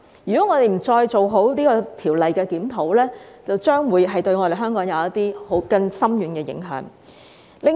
如果我們不再就《條例》做好檢討，將會對香港造成更深遠的影響。